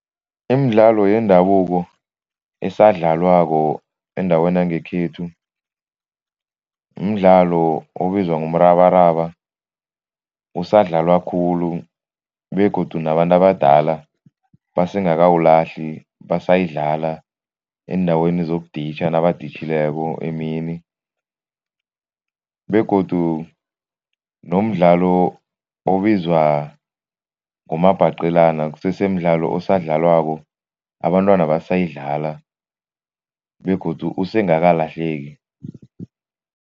Imidlalo yendabuko esadlalwako endaweni yangekhethu mdlalo obizwa ngomrabaraba. Usadlalwa khulu begodu nabantu abadala basengakawulahli, basayidlala eendaweni zokuditjha nabaditjhileko emini begodu nomdlalo obizwa ngomabhaqelana kusesemdlalo osadlalwako, abantwana basayidlala begodu usengakalahleki.